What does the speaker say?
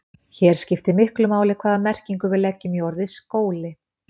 Hér skiptir miklu máli hvaða merkingu við leggjum í orðið skóli.